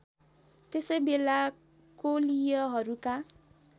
त्यसै बेला कोलीयहरूका